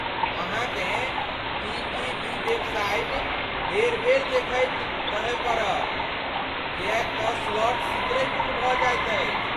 अहाँकेँ टीटीडी वेबसाइट बेर बेर देखैत रहय पड़त, किएकतँ स्लॉट शीघ्रहि बुक भऽ जाइत अछि।